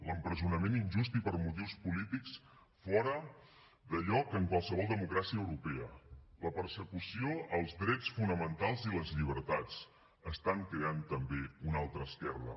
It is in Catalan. l’empresonament injust i per motius polítics fora de lloc en qualsevol democràcia europea la persecució als drets fonamentals i les llibertats estan creant també una altra esquerda